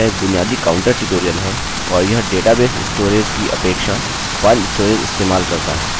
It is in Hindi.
ठीक है तो पहला कार्य हमें करना है कि एक फाइल बनाएँ जिसमें अपनी वेल्यू रखें